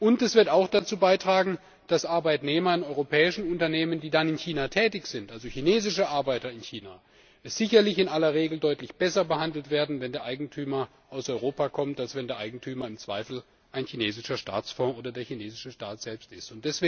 Und es wird auch dazu beitragen, dass Arbeitnehmer in europäischen Unternehmen, die dann in China tätig sind also chinesische Arbeiter in China sicherlich in aller Regel deutlich besser behandelt werden, wenn der Eigentümer aus Europa kommt, als wenn der Eigentümer im Zweifel ein chinesischer Staatsfonds oder der chinesische Staat selbst ist.